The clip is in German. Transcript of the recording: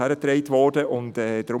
Dies wurde uns zugetragen.